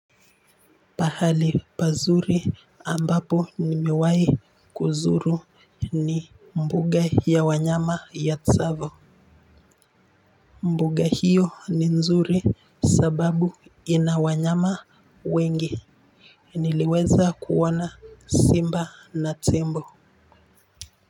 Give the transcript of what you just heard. Pahali pazuri ambapo nimewahi kuzuru ni mbuga ya wanyama ya tsavo. Mbuga hiyo ni nzuri sababu inawanyama wengi. Niliweza kuona simba na tembo.